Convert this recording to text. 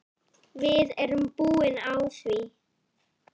Við erum búin á því.